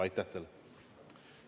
Aitäh teile!